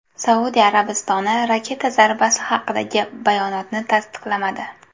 Saudiya Arabistoni raketa zarbasi haqidagi bayonotni tasdiqlamadi.